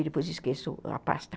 E depois esqueço a pasta.